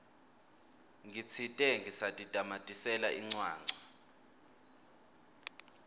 ngitsite ngisatitamatisela incwancwa